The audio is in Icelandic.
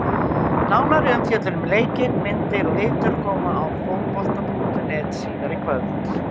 Nánari umfjöllun um leikinn, myndir og viðtöl koma á Fótbolta.net síðar í kvöld.